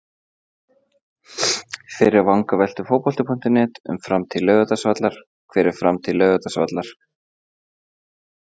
Fyrri vangaveltur Fótbolti.net um framtíð Laugardalsvallar: Hver er framtíð Laugardalsvallar?